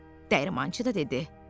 Dəyirmançı da dedi: